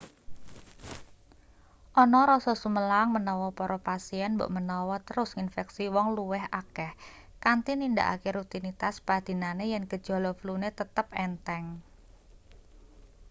ana rasa sumelang menawa para pasien mbokmenawa terus nginfeksi wong luwih akeh kanthi nindakake rutinitas padinane yen gejala flune tetep entheng